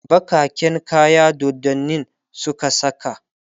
bakaken kaya doddanin Suka saka